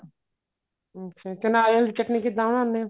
ਅੱਛਾ ਤੇ ਨਾਰੀਅਲ ਦੀ ਚਟਨੀ ਕਿੱਦਾਂ ਬਣਾਉਂਦੇ ਓ